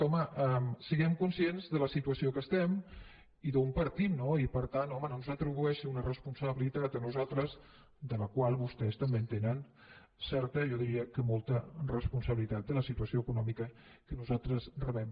home siguem conscients de la situació que estem i d’on partim no i per tant home no ens atribueixi una responsabilitat a nosaltres de la qual vostès també en tenen certa jo diria que molta responsabilitat de la situació econòmica que nosaltres rebem